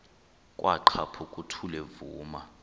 kwaqhaphuk uthuli evuma